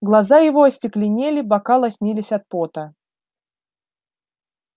глаза его остекленели бока лоснились от пота